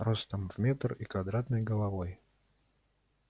ростом в метр и квадратной головой